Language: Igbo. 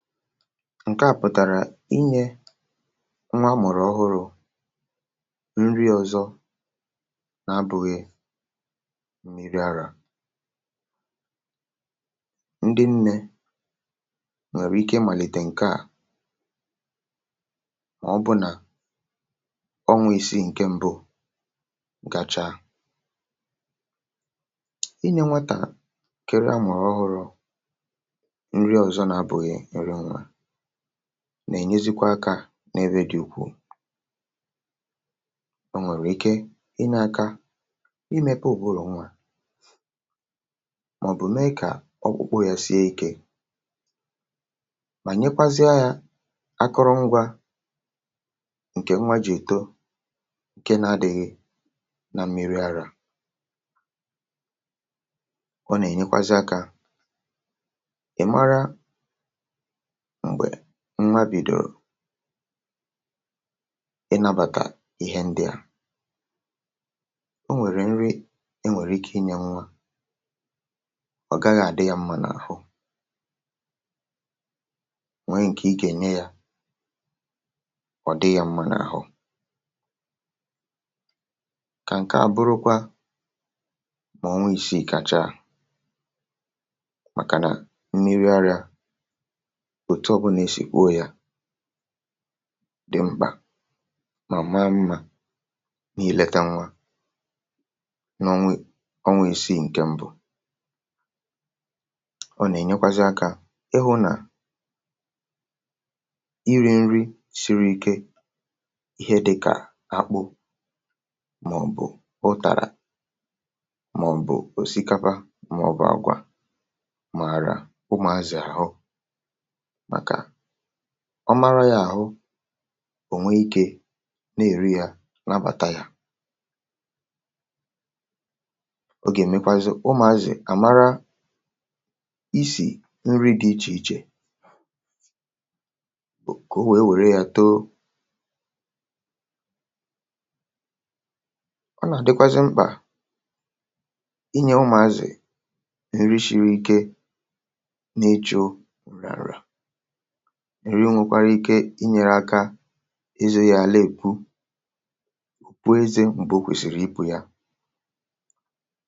ǹkeà pụ̀tàrà inyė nwa amụ̀rụ̀ ọhụrụ̇ nri ọ̇zọ̇ na-abụ̇ghị milk àrà, nà-ènyezikwa akȧ n’ebe dị̇ ùkwù. o nwèrè ike ị nȧ-ȧkȧ, ị mepe ò buru nwa màọ̀bụ̀ mee kà ọkpụkpụ yȧ sie ikė, mà nyekwazịa yȧ akụrụ ngwa ǹkè nwa jì èto, ǹke na-adị̇ghị na milk àrà. ọ nà-ènyekwazị akȧ m̀gbè nwa bìdòrò um ị nȧbàkà ihe ndị à, o nwèrè nri, enwèrè ike ịnyė nwa, ọ̀ gaghị̇ àdị yȧ mmȧ n’àhụ. nwere ǹkè ị gà-ènye yȧ, ọ̀ dị yȧ mmȧ n’àhụ kà. ǹke a bụrụkwa mà ọnwa isiì kàchaa, màkà nà milk arịȧ, tụọbụnà esì kwuo yȧ dị mkpà, mà ma mmȧ na-èlete nwa n’onwe isiì. ǹkè mbụ̇, ọ nà-ènyekwazi akȧ ịhụ̇ nà iri̇ nri siri ike, ihe dịkà akpụ, mà ọ̀ bụ̀ ụtàrà, mà ọ̀ bụ̀ òsikapa, mà ọ̀ bụ̀ àgwà mààrà ụmà. àzị̀ àhụ, ọ mara yȧ àhụ, ò nwee ikė na-èri yȧ nabàtà yà, o gà-èmekwazị ụmụ̀ àzị̀ àmara isì nri dị ichè ichè, ka o wèe wère yȧ too. ọ nà-àdịkwazị mkpà inyė ụmụ̀ àzị̀ nà ǹrịshịrị ike, na-echȯ inyere, ngwẹ̇kwara ike inyẹ̇rẹ̇ aka ịzụ̇ yȧ àlà, èkwu pụọ, ịzẹ̇ m̀gbè o kwèsìrì ịpụ̇ yȧ.